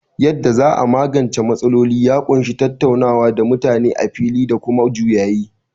Yadda za a magance matsaloli ya ƙunshi tattaunawa da mutane a fili da kuma juyayi.